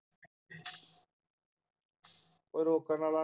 ਕੋਈ ਰੋਕਣ ਵਾਲਾ ਨਹੀਂ